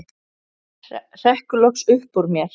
hrekkur loks upp úr mér.